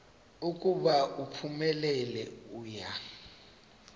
ukuba uphumelele uya